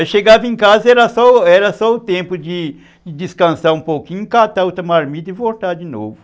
Eu chegava em casa e era só era só o tempo de descansar um pouquinho, catar a outra marmita e voltar de novo.